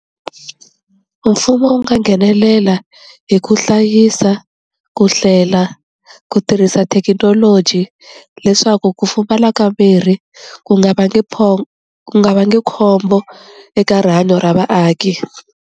Mfumo wu nga nghenelela hi ku hlayisa, ku hlela, ku tirhisa thekinoloji leswaku ku pfumala ka mirhi ku nga vangi pho ku nga va nge khombo eka rihanyo ra vaaki.